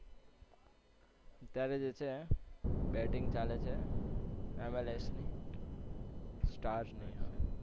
અત્યારે જે છે batting ચાલે છે. MLS ની stars